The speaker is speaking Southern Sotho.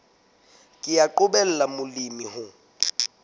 ke wa qobella molemi ho